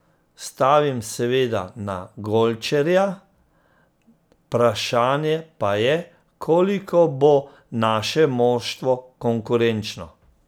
Stavim seveda na Golčerja, vprašanje pa je, koliko bo naše moštvo konkurenčno.